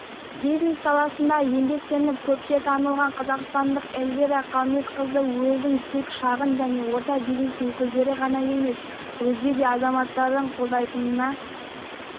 бизнес саласында еңбектеніп көпке танылған қазақстандық эльвира қалметқызы өзін тек шағын және орта бизнес өкілдері ғана емес өзге де азаматтардың қолдайтынына